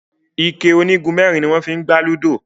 ikẹ onigunmẹrin ní wón fí gbà ludo.